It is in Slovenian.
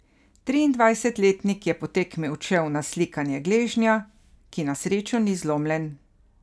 Triindvajsetletnik je po tekmi odšel na slikanje gležnja, ki na srečo ni zlomljen.